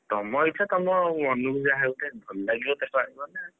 ତମ ଇଚ୍ଛା ତମ ମନକୁ ଯାହା ଗୋଟେ ଭଲ ଲାଗିବ ତାକୁ ଆଣିବ ନା,